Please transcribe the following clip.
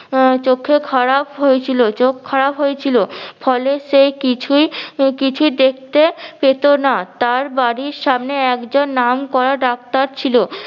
আহ চোখে খারাপ হয়েছিল চোখ খারাপ হয়েছিল ফলে সে কিছুই কিছুই দেখতে পেত না। তার বাড়ির সামনে একজন নামকরা ডাক্তার ছিল।